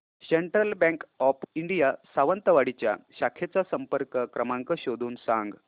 central Bank of India Sawantwadi च्या शाखेचा संपर्क क्रमांक शोधून सांग